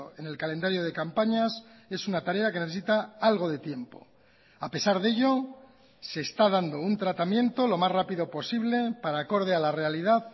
en el calendario de campañas es una tarea que necesita algo de tiempo a pesar de ello se está dando un tratamiento lo más rápido posible para acorde a la realidad